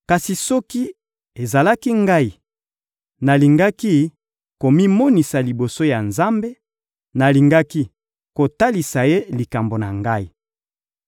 Kasi soki ezalaki ngai, nalingaki komimonisa liboso ya Nzambe, nalingaki kotalisa Ye likambo na ngai.